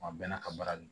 A bɛɛ n'a ka baara do